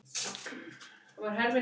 Þetta hafði hann þá skrifað til hennar!